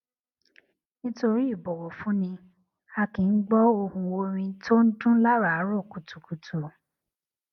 nítorí ìbọwọfúnni a kì í gbó ohùn orin tó ń dún láàárọ kùtùkùtù